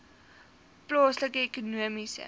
plaaslike ekonomiese